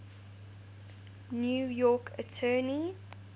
new york attorney